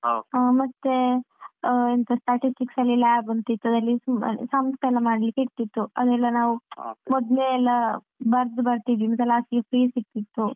ಮತ್ತೆ ಎಂತ statistics ಅಲ್ಲಿ lab ಅಂತ ಇತ್ತು ಅದ್ರಲ್ಲಿ ಸುಮ್ಮನೆ sums ಎಲ್ಲ ಮಾಡ್ಲಿಕ್ಕೆ ಇರ್ತಿತ್ತು ಅದೆಲ್ಲ ನಾವು ಮೊದ್ಲೇ ಎಲ್ಲ ಬರ್ದು ಬರ್ತಿದ್ವಿ ಮತ್ತೆ last ಗೆ free ಸಿಗ್ತಿತ್ತು.